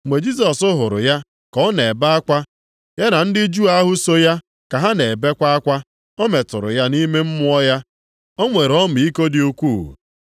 Mgbe Jisọs hụrụ ya ka ọ na-ebe akwa ya na ndị Juu ahụ so ya ka ha na-ebekwa akwa, o metụrụ ya nʼime mmụọ ya. O nwere ọmịiko dị ukwuu.